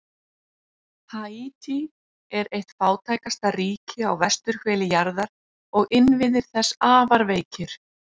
Haítí er eitt fátækasta ríki á vesturhveli jarðar og innviðir þess afar veikir.